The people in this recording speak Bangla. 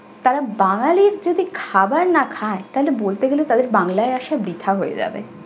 তারা বাঙালির যদি খাবার না খায় তাহলে বলতে গেলে তাদের বাংলায় আসা বৃথা হয়ে যাবে।